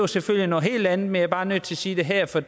selvfølgelig noget helt andet men jeg er bare nødt til sige det her for